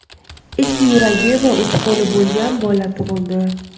ikki yuragi va uch qo‘li bo‘lgan bola tug‘ildi.